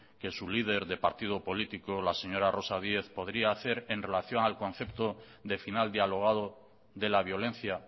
que su líder de partido político la señora rosa díez podría hacer en relación al concepto de final dialogado de la violencia